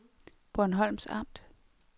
Bornholms Amt